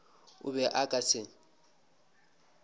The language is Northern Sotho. o be a ka se